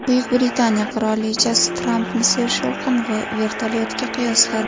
Buyuk Britaniya qirolichasi Trampni sershovqin vertolyotga qiyosladi .